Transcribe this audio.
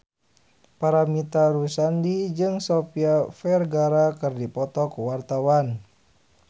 Paramitha Rusady jeung Sofia Vergara keur dipoto ku wartawan